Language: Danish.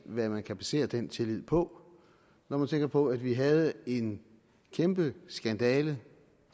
hvad man kan basere den tillid på når man tænker på at vi havde en kæmpe skandale